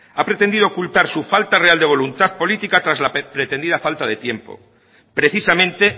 ha pretendido oculta su falta real de voluntad política tras la pretendida falta de tiempo precisamente